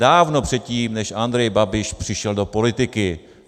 Dávno předtím, než Andrej Babiš přišel do politiky.